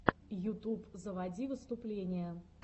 ютуб заводи выступления